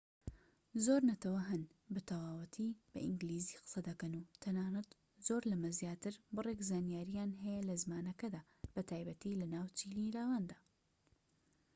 زۆر نەتەوە هەن بە تەواوەتی بە ئینگلیزی قسە دەکەن و تەنانەت زۆر لەمە زیاتر بڕێک زانیارییان هەیە لە زمانەکەدا بە تایبەتی لە ناو چینی لاواندا